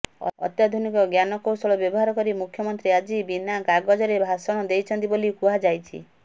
ଅତ୍ୟାଧୁନିକ ଜ୍ଞାନକୌଶଳ ବ୍ୟବହାର କରି ମୁଖ୍ୟମନ୍ତ୍ରୀ ଆଜି ବିନା କାଗଜରେ ଭାଷଣ ଦେଇଛନ୍ତି ବୋଲି କୁହାଯାଉଛି